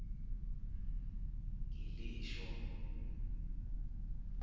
gilisho